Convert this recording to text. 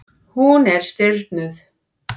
Hún er stirðnuð.